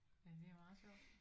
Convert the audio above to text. Men det er meget sjovt